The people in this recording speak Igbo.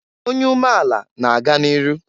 Onye umeala na-aga n'iru.